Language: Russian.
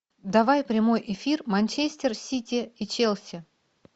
давай прямой эфир манчестер сити и челси